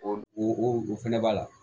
O o o fɛnɛ b'a la